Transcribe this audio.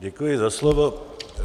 Děkuji za slovo.